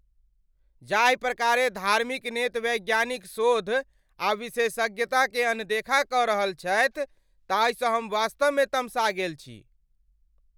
जाहि प्रकारेँ धार्मिक नेत वैज्ञानिक शोध आ विशेषज्ञताकेँ अनदेखा कऽ रहल छथि ताहिसँ हम वास्तवमे तमसा गेल छी।